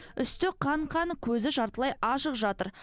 үсті қан қан көзі жартылай ашық жатыр